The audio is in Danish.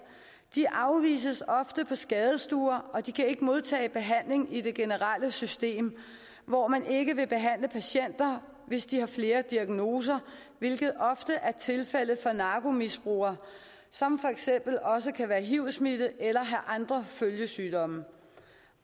de afvises ofte på skadestuer og de kan ikke modtage behandling i det generelle system hvor man ikke vil behandle patienter hvis de har flere diagnoser hvilket ofte er tilfældet for narkomisbrugere som for eksempel også kan være hiv smittede eller have andre følgesygdomme